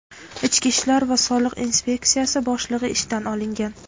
ichki ishlar va soliq inspeksiyasi boshlig‘i ishdan olingan.